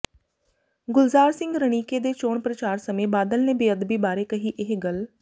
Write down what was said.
ਗੁਲਜ਼ਾਰ ਸਿੰਘ ਰਣੀਕੇ ਦੇ ਚੋਣ ਪ੍ਰਚਾਰ ਸਮੇਂ ਬਾਦਲ ਨੇ ਬੇਅਦਬੀ ਬਾਰੇ ਕਹੀ ਇਹ ਗੱਲ